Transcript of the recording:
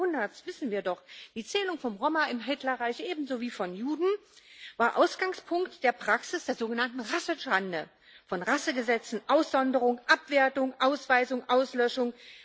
20. Jahrhunderts wissen wir doch Die Zählung von Roma im Hitlerreich ebenso wie von Juden war Ausgangspunkt der Praxis der sogenannten Rassenschande, von Rassegesetzen, Aussonderung, Abwertung, Ausweisung, Auslöschung.